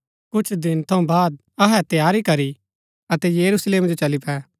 कुछ दिन थऊँ बाद अहै तैयारी करी अतै यरूशलेम जो चली पै